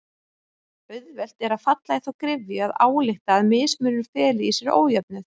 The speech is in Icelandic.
Auðvelt er að falla í þá gryfju að álykta að mismunur feli í sér ójöfnuð.